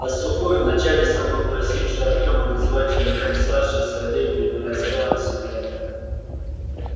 а сухой вначале сам попросивший артема называть его дядей сашей со временем раскаялся в этом